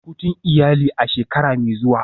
Shirya hutun iyali a shekara mai zuwa.